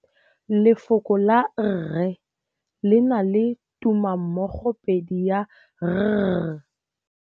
Lefoko la rre le na le tumammogôpedi ya, r.